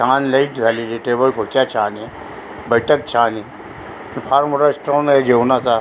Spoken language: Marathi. छान लयच झालेली टेबल खुर्च्या छान य बैठक छान य फार मोठा स्ट्रॉंग आहे जेवणाचा.